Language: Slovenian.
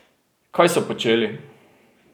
Kaj so počeli?